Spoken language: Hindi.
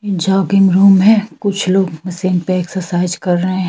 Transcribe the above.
जॉगिंग रूम है कुछ लोग मशीन पे एक्सरसाइज कर रहे --